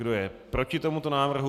Kdo je proti tomuto návrhu?